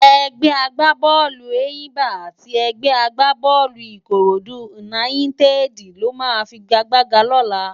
Ègbè àgbábólú Éyimbá ati ègbè àgbábólú Ikóródú Únáyitèdi ló má figágbágá lólá